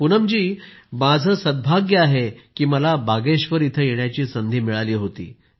पूनमजी माझं सद्भाग्य आहे की मला बागेश्वर येण्याची संधी मिळाली होती